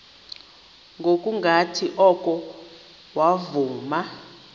ngokungathi oko wavuma